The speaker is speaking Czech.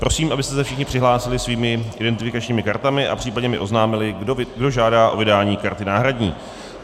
Prosím, abyste se všichni přihlásili svými identifikačními kartami a případně mi oznámili, kdo žádá o vydání karty náhradní.